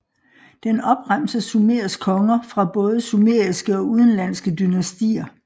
Den opremser Sumers konger fra både sumeriske og udenlandske dynastier